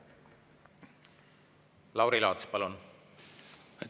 Lauri Laats, palun!